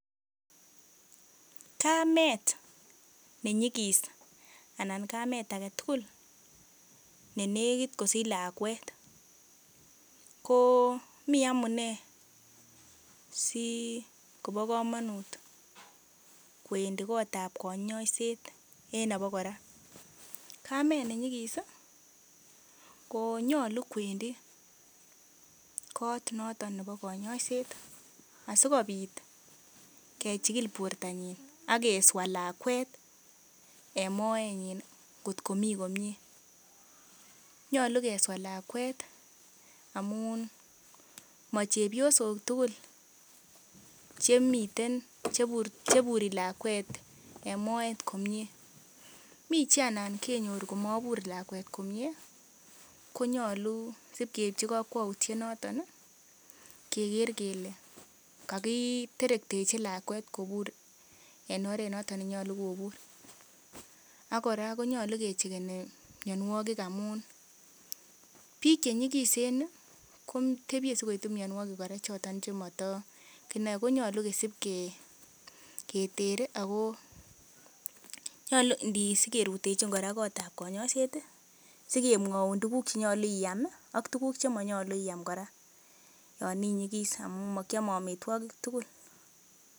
Kamet nenyigis anan kamet age tugul ne negit kosich lakwet ko mi amune sikobo komonut kowendi kotab konyoiset en abakora. Kamet ne nyigis konyolu kwendi kot noton nebo konyoisiet asikobit kechigil bortanyin ak keswa lakwet en moenyin kotko mi komye. Nyolu keswa lakwet amun mo chepyosok tugul chmiten cheburi lakwet komyee. Mi che alan kenyor komabur lakwet komyee konyolu sibkeibchi kokwoutiet noton keger kele kagiterektechi lakwet kobur en oret noton nenyolu kobur ak kora konyolu kecheckeni mianwogik amun biik che nyigisen kotebye si koitu mianwogik choto che motokinoi konyolu kisib keter ago nyolu sigerutechin kora kotab konyoisiet sigemwaun tuguk che nyolu iam ak tuguk che monyolu iam kora yon inyigis amun mo kiame amitwogik tugul.